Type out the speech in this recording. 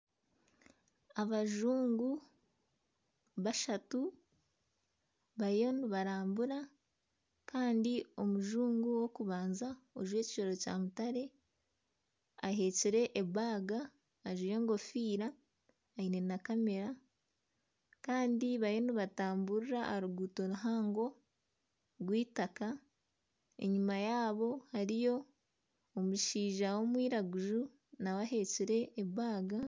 Abajungu bashatu bariyo nibarambura kandi omujungu w'okubanza ojwekire ekya mutare aheekire ebaaga ajwaire enkofiira aine na kamera kandi bariyo nibatamburira aha ruguuto ruhango rw'eitaaka. Enyuma yaabo hariyo omushaija w'omwiraguju naawe aheekire ebaga.